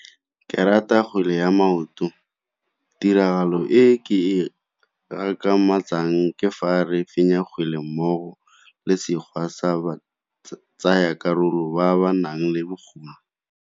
Ke rata kgwele ya maoto, tiragalo e ke e ke fa re fenya kgwele mmogo le sa ba tsaya karolo ba ba nang le bokgoni.